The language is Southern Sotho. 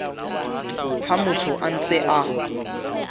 ha motho a ntse a